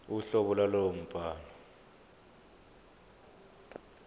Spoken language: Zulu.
uhlobo lwalowo mbhalo